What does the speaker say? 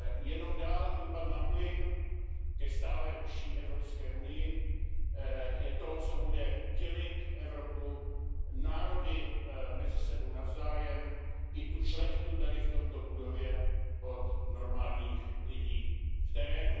Jenom dál dupat na plyn ke stále užší Evropské unii je to, co bude dělit Evropu, národy mezi sebou navzájem i tu šlechtu tady v této budově od normálních lidí v terénu.